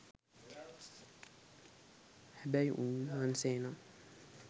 හැබැයි උන්නාන්සෙනම්